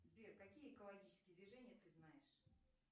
сбер какие экологические движения ты знаешь